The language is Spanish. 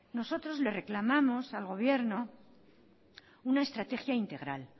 nosotros le reclamamos al gobierno una estrategia integral